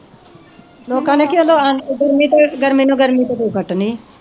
ਗਰਮੀ ਨੂੰ ਗਰਮੀ ਤੇ ਤੂੰ ਕੱਟਣੀ